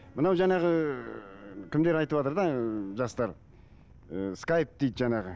мынау жаңағы ыыы кімдер айтыватыр да ы жастар ы скайп дейді жаңағы